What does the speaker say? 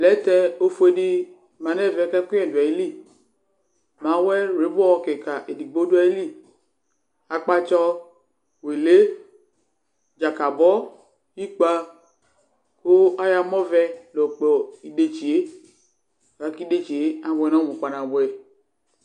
Plɛtɛ ófuedi mã nu ɛvɛ, ku ɛkuyɛ du ayili Máwɛ wlibɔ kikã eɖigbo du ayili; akpatsɔ fuele, dzakabɔ, ikpə, ku ayɔ amɔ vɛ la yɔkpɔ idetsi yɛ Laku idetsi yɛ abuɛ nu ɔmu kpanabuɛ